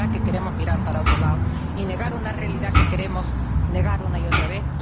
¿No será que queremos mirar para otro lado y negar una realidad que queremos negar una y otra vez?